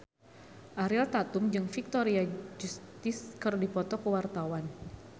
Ariel Tatum jeung Victoria Justice keur dipoto ku wartawan